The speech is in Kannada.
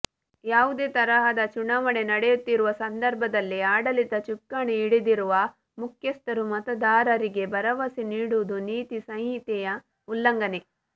ಯಾವುದೇ ತಹರದ ಚುನಾವಣೆ ನಡೆಯುತ್ತಿರುವ ಸಂದರ್ಭದಲ್ಲಿ ಆಡಳಿತ ಚುಕ್ಕಾಣಿ ಹಿಡಿದಿರುವ ಮುಖ್ಯಸ್ಥರು ಮತದಾರರಿಗೆ ಭರವಸೆ ನೀಡಿವುದು ನೀತಿ ಸಂಹಿತೆಯ ಉಲ್ಲಂಘನೆ